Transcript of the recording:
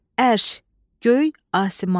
Ərş, göy, asiman.